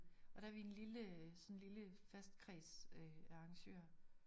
Og der vi en lille sådan en lille fast kreds af arrangøre